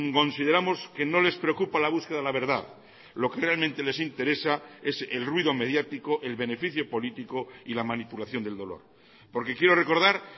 consideramos que no les preocupa la búsqueda de la verdad lo que realmente les interesa es el ruido mediático el beneficio político y la manipulación del dolor porque quiero recordar